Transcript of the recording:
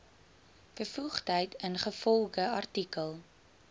bevoegdheid ingevolge artikel